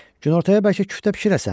Günortaya bəlkə küftə bişirəsən?